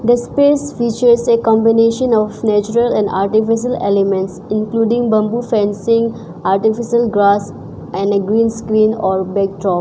This place features a combination of natural and artificial elements including bamboo fencing artificial grass and a green screen or backdrop.